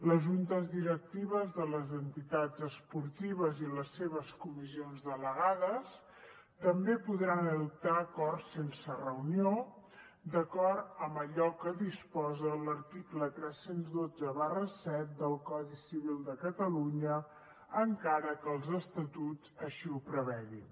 les juntes directives de les entitats esportives i les seves comissions delegades també podran adoptar acords sense reunió d’acord amb allò que disposa l’article tres mil cent i vint set del codi civil de catalunya encara que els estatuts així ho prevegin